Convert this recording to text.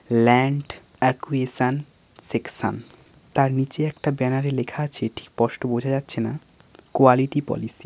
Land acquisition section. তার নিচে একটা ব্যানার -এ লেখা আছে ঠিক স্পষ্ট বোঝা যাচ্ছে না কোয়ালিটি পলিসি ।